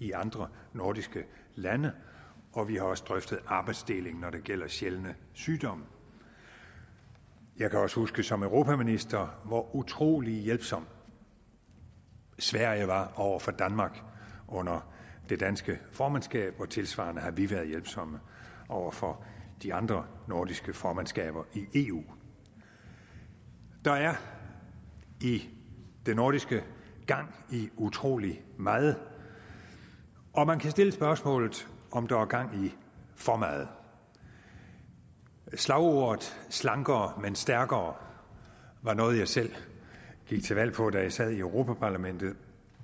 i andre nordiske lande og vi har også drøftet arbejdsdeling når det gælder sjældne sygdomme jeg kan også huske som europaminister hvor utrolig hjælpsom sverige var over for danmark under det danske formandskab og tilsvarende har vi været hjælpsomme over for de andre nordiske formandskaber i eu der er i det nordiske gang i utrolig meget og man kan stille det spørgsmål om der er gang i for meget slagordet slankere men stærkere var noget jeg selv gik til valg på da jeg sad i europa parlamentet